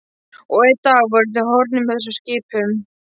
Og einn dag voru þeir horfnir með þessum skipum.